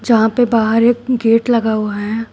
यहां पे बाहर एक गेट लगा हुआ है।